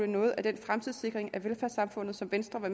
noget af den fremtidssikring af velfærdssamfundet som venstre har